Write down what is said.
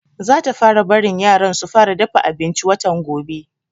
Zata fara barin yaran su fara dafa abinci watan gobe